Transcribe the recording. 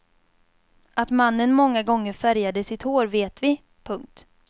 Att mannen många gånger färgade sitt hår vet vi. punkt